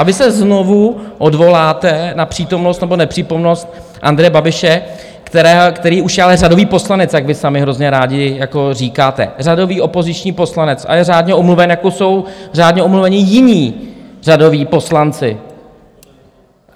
A vy se znovu odvoláte na přítomnost nebo nepřítomnost Andreje Babiše, který už je ale řadový poslanec, jak vy sami hrozně rádi říkáte, řadový opoziční poslanec a je řádně omluven, jako jsou řádně omluveni jiní řadoví poslanci.